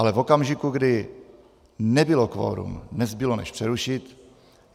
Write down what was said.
Ale v okamžiku, kdy nebylo kvorum, nezbylo než přerušit.